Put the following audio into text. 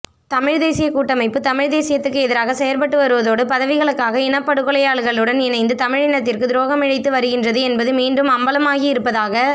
தமிழ்த்தேசியக் கூட்டமைப்பு தமிழ்த் தேசியத்துக்கு எதிராக செயற்பட்டுவருவதோடு பதவிகளுக்காக இனப்படுகொலையாளிகளுடன் இணைந்து தமிழினத்திற்கு துரோகமிழைத்து வருகின்றது என்பது மீண்டும் அம்பலமாகியிருப்பதாக